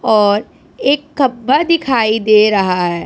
और एक खंभा दिखाई दे रहा है।